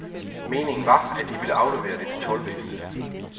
Meningen var, at de ville aflevere det til toldvæsenet.